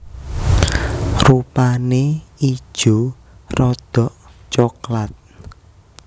Rupane ijo rada coklat